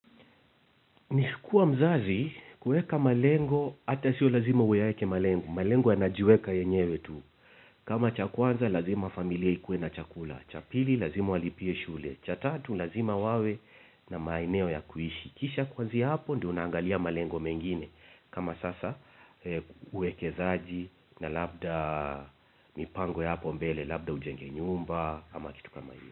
Nikikuwa mzazi kueka malengo, hata sio lazima uyaeke malengo. Malengo yanajiweka yenyewe tu. Kama cha kwanza lazima familia ikue na chakula. Cha pili lazima walipie shule. Cha tatu lazima wawe na maeneo ya kuishi. Kisha kuanzia hapo ndio unaangalia malengo mengine. Kama sasa uwekezaji na labda mipango ya hapo mbele, labda ujenge nyumba kama kitu kama hiyo.